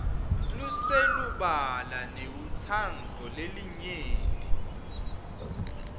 loselubala newentsandvo yelinyenti